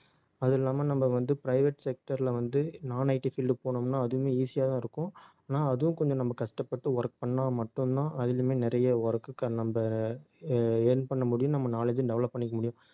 அது இல்லாம நம்ம வந்து private sector ல வந்து nonITfield போனோம்ன்னா அதுவுமே easy யாதான் இருக்கும். ஆனா அதுவும் கொஞ்சம் நம்ம கஷ்டப்பட்டு work பண்ணா மட்டும்தான் அதிலேயுமே நிறைய work நம்ம அஹ் earn பண்ண முடியும். நம்ம knowledge ம் develop பண்ணிக்க முடியும்